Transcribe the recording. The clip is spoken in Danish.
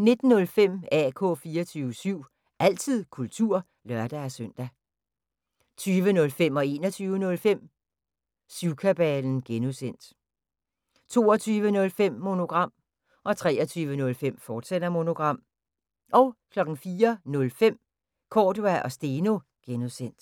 19:05: AK 24syv – altid kultur (lør-søn) 20:05: Syvkabalen (G) 21:05: Syvkabalen (G) 22:05: Monogram 23:05: Monogram, fortsat 04:05: Cordua & Steno (G)